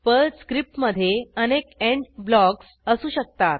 Perl स्क्रिप्टमधे अनेक end blocks असू शकतात